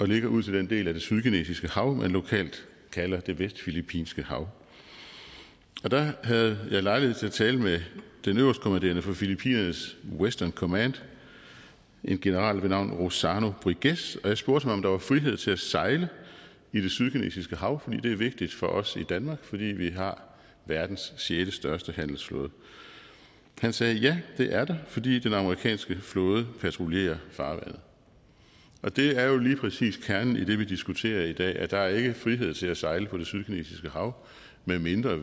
ligger ud til den del af det sydkinesiske hav man lokalt kalder det vestfilippinske hav der havde jeg lejlighed til at tale med den øverstkommanderende for filippinernes western command en general ved navn rozzano briguez og jeg spurgte ham om der er frihed til at sejle i det sydkinesiske hav for det er vigtigt for os i danmark fordi vi har verdens sjette største handelsflåde han sagde ja det er der fordi den amerikanske flåde patruljerer farvandet det er jo lige præcis kernen i det vi diskuterer i dag nemlig at der ikke er frihed til at sejle på det sydkinesiske hav medmindre